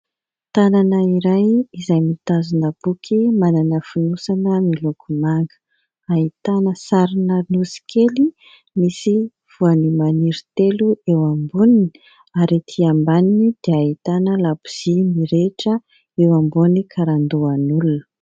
Tanana iray izay mitazona boky manana fonosana miloko manga, ahitana sarina nosy kely misy voanio maniry telo eo amboniny ary etỳ ambaniny dia ahitana labozia mirehitra eo ambony karandoan'olona.